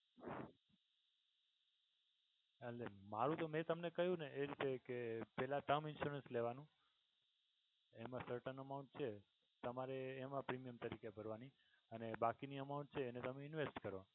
એટલે મારુ તો મે તમને કહ્યું ને કે એ રીતે કે પેલા term insurance લેવાનો એમા certain amount છે તમારે એમા premium તરીકે ભરવાની અને બાકીની amount છે એને તમે invest કરો.